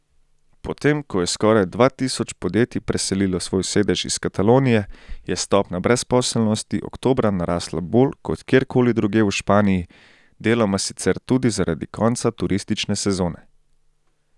Potem ko je skoraj dva tisoč podjetij preselilo svoj sedež iz Katalonije, je stopnja brezposelnosti oktobra narasla bolj kot kjerkoli drugje v Španiji, deloma sicer tudi zaradi konca turistične sezone.